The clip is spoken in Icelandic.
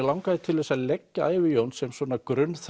langaði til þess að leggja ævi Jóns sem svona